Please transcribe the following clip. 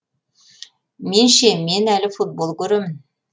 мен ше мен әлі футбол көремін